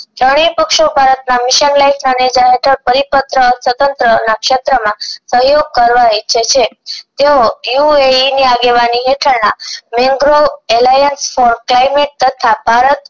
ત્રણેય પક્ષો ભારતના mission પરિપત્ર સ્વતંત્ર ના ક્ષેત્રો માં સહયોગ કરવા ઈચ્છે છે તેઓ એ ઑ ઇ ની આગેવાની હેઠળ ના નિગ્રો એલ આઈ એસ તથા ભારત